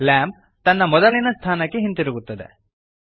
lamp ತನ್ನ ಮೊದಲಿನ ಸ್ಥಳಕ್ಕೆ ಹಿಂದಿರುಗುತ್ತದೆ